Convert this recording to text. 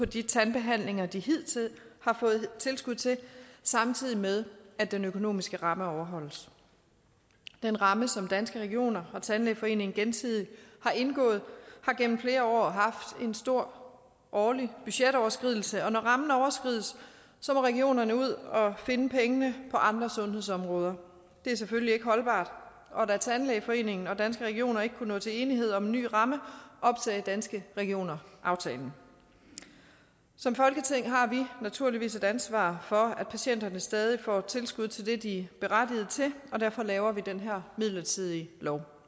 de tandbehandlinger de hidtil har fået tilskud til samtidig med at den økonomiske ramme overholdes den ramme som danske regioner og tandlægeforeningen gensidig har indgået har gennem flere år haft en stor årlig budgetoverskridelse og når rammen overskrides må regionerne ud og finde pengene på andre sundhedsområder det er selvfølgelig ikke holdbart og da tandlægeforeningen og danske regioner ikke kunne nå til enighed om en ny ramme opsagde danske regioner aftalen som folketing har vi naturligvis et ansvar for at patienterne stadig får tilskud til det de er berettiget til og derfor laver vi den her midlertidige lov